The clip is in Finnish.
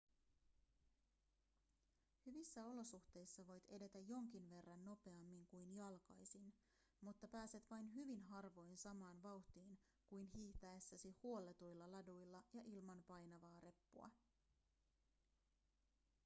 hyvissä olosuhteissa voit edetä jonkin verran nopeammin kuin jalkaisin mutta pääset vain hyvin harvoin samaan vauhtiin kuin hiihtäessäsi huolletuilla laduilla ja ilman painavaa reppua